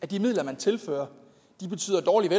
de midler man tilfører betyder dårligere